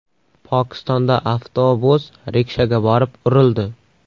Pokistonda avtobus rikshaga borib urildi.